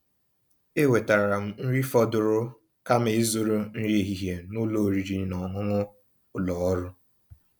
èwètáara m nrí fọ̀dụ̀rụ̀ kàma ízụ̀rụ̀ nrí èhihie n'ụ́lọ̀ ọ̀rị́rị́ ná ọ̀ṅụ̀ṅụ̀ ụ́lọ̀ ọ́rụ̀.